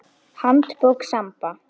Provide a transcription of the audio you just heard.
Handbók Samba.